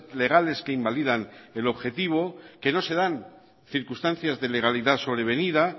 legales que invalidan el objetivo que no se dan circunstancias de legalidad sobrevenida